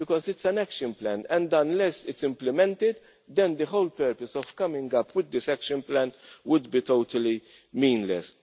Because it is an action plan and unless it is implemented, then the whole purpose of coming up with this action plan would be totally meaningless.